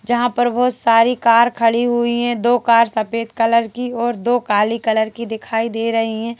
जहां पर बहुत सारी कार खड़ी हुई हैं दो कार सफेद कलर की और दो काली कलर की दिखाई दे रही हैं।